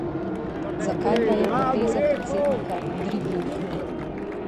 Zakaj pa je poteza predsednika dribling?